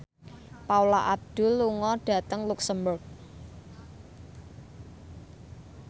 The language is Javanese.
Paula Abdul lunga dhateng luxemburg